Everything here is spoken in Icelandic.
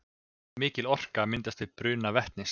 Mikil orka myndast við bruna vetnis.